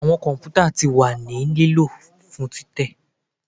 Awọn kọmputa ti wa ni lilo fun titẹ